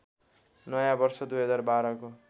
नयाँ वर्ष २०१२ को